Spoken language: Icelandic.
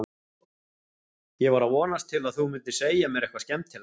Ég var að vonast til að þú mundir segja mér eitthvað skemmtilegt.